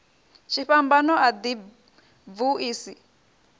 tshifhambano a ḓi bvu isi